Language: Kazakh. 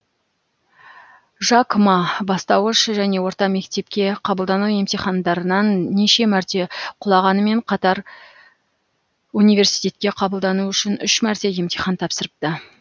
жак ма бастауыш және орта мектепке қабылдану емтихандарынан неше мәрте құлағанымен қатар университетке қабылдану үшін үш мәрте емтихан тапсырыпты